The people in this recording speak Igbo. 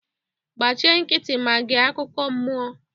gbachi nkịtị ma gee akukọ mmụọ